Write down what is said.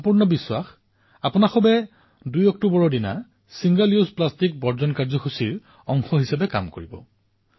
মোৰ সম্পূৰ্ণ বিশ্বাস আপোনালোক সকলোৱে ২ অক্টোবৰত এবাৰ ব্যৱহৃত প্লাষ্টিকৰ পৰা মুক্তি হোৱাৰ অভিযানৰ অংশীদাৰ হব